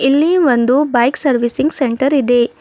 ಇಲ್ಲಿ ಒಂದು bike servicing centre ಇದೆ.